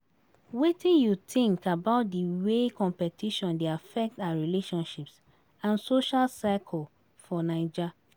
Wetin you think about di way competition dey affect our relationships and social circles for Naija?